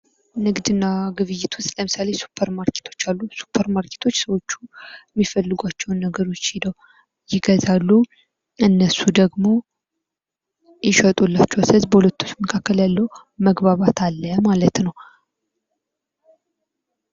ንግድና ግብይት ውስጥ ለምሳሌ ሱፐር ማርኬቶች አሉ ሱፐርማርኬቶች ሰዎች የሚፈልጓቸውን ነገሮች ሄደው ይገዛሉ እነሱ ደግሞ ይሸጡላቸዋል ስለዚህ በሁለቶች መካከል መግባባት አለ ማለት ነው።